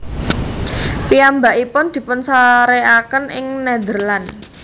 Piyambakipun dipunsarékaken ing Nederland